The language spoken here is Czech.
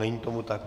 Není tomu tak.